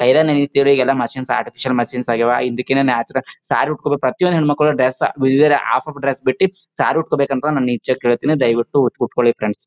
ಕೈನಾಗ್ ಹೆನೀತಿವಿ ಈಗೆಲ್ಲ ಮಶೀನ್ ಆಗಿದೆ ಇದ್ದಕಿದ್ ಸಾರೀ ಉಟ್ಕೊಳೊ ಪ್ರತಿಯೊಂದು ಹೆಣ್ಣಮಕ್ಕಳ ಡ್ರೆಸ್ ಹಾಫ್ ಹಾಫ್ ಡ್ರೆಸ್ ಬಿಟ್ಟು ಸಾರಿ ಉಟ್ಕೋಬೇಕ್ ಅನ್ನೋದು ನನ್ನ ಇಚ್ಛೆ ದಯವಿಟ್ಟು ಉಟ್ಕೊಳ್ಳಿ ಫ್ರೆಂಡ್ಸ್ .